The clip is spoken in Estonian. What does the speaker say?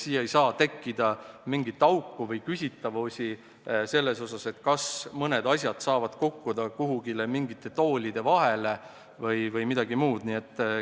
Siia ei tohi tekkida mingit auku või küsitavusi, kas mõned asjad saavad kukkuda kuhugi mingite toolide vahele või midagi muud sellist.